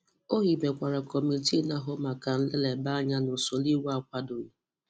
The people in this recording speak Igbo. O hibekwara kọmitii na-ahụ maka nleleba anya na usoro iwu akwadoghị.